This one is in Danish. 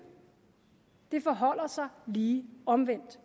det forholder sig lige omvendt